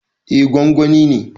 Eh, gwangwani ne